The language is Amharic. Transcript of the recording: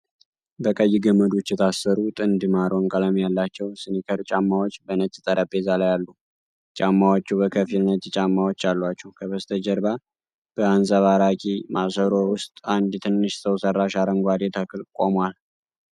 በቀይ ገመዶች የታሰሩ ጥንድ ማሮን ቀለም ያላቸው ስኒከር ጫማዎች በነጭ ጠረጴዛ ላይ አሉ። ጫማዎቹ በከፊል ነጭ ጫማዎች አሏቸው። ከበስተጀርባ በአንጸባራቂ ማሰሮ ውስጥ አንድ ትንሽ ሰው ሰራሽ አረንጓዴ ተክል ቆሟል።